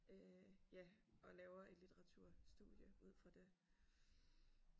Øh ja og laver et litteratur studie ud fra det